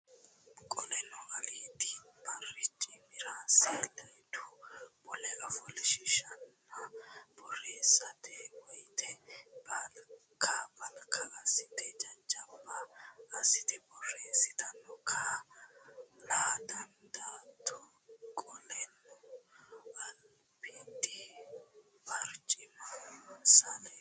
Qoleno albiidi barcimira saleedu mule ofoshshiishatenninna borreessatto woyte balka balka assite jajjabba assite borreessatenni kaa la dandaatto Qoleno albiidi barcimira saleedu.